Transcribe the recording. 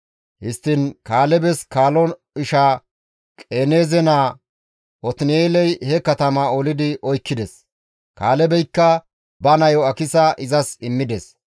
Histtiin Kaalebes kaalo isha Qenaaze naa Otin7eeley he katamaa olidi oykkides; Kaalebeykka ba nayo Akisa izas immides.